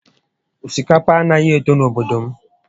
Osikapa a naghị eto n'obodo m